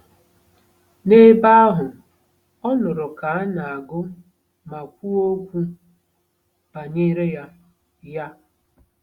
N'ebe ahụ, ọ nụrụ ka a na-agụ ma kwuo okwu banyere ya. ya.